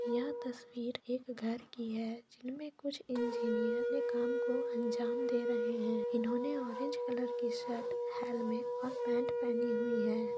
यह तस्वीर एक घर की है जिन में कुछ इंजीनियर ने काम को अंजाम दे रहे है इन्होने ऑरेंज कलर की शर्ट हेलमेट और पेंट पेहनी हुई है।